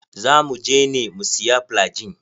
Za muje ne mu siya flygin.